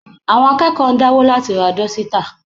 Àwọn akẹ́kọ̀ọ́ ń dáwó láti ra dọ́sítà